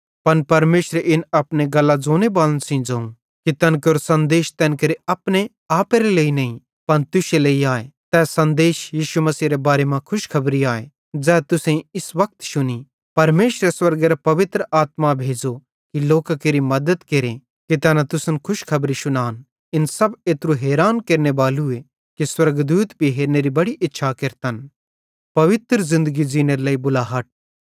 पन परमेशरे इन अपने गल्लां ज़ोनेबालन सेइं ज़ोवं कि तैन केरो सन्देश तैन केरे अपने आपेरे लेइ नईं पन तुश्शे लेइ आए तै सन्देश यीशु मसीहेरे बारे मां खुशखबरी आए ज़ै तुसेईं इस वक्त शुनी परमेशरे स्वर्गेरां पवित्र आत्मा भेज़ो कि लोकां केरि मद्दत केरे कि तैना तुसन खुशखबरी शुनान इन सब एत्रू हैरान केरनेबालू ए कि स्वर्गदूत भी इन हेरनेरी बड़ी इच्छा रखतन